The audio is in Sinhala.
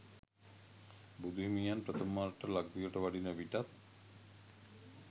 බුදු හිමියන් ප්‍රථම වරට ලක්දිවට වඩින විටත්